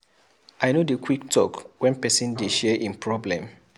I no dey quick talk wen pesin dey share im problem.